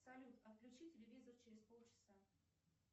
салют отключи телевизор через полчаса